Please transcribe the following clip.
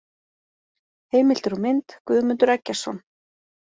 Heimildir og mynd: Guðmundur Eggertsson.